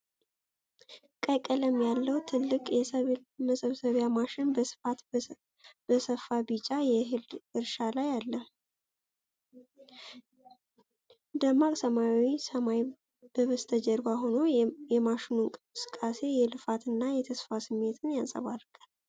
ቀይ ቀለም ያለው ትልቅ የሰብል መሰብሰቢያ ማሽን በስፋት በሰፋ ቢጫ የእህል እርሻ ላይ አለ። ደማቅ ሰማያዊ ሰማይ በበስተጀርባ ሆኖ፣ የማሽኑ እንቅስቃሴ የልፋትና የተስፋ ስሜት ያንጸባርቃል።